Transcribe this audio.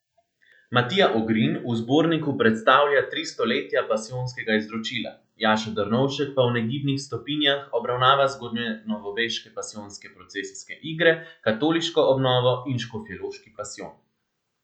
Matija Ogrin v zborniku predstavlja Tri stoletja pasijonskega izročila, Jaša Drnovšek pa V negibnih stopinjah obravnava zgodnjenovoveške pasijonske procesijske igre, katoliško obnovo in Škofjeloški pasijon.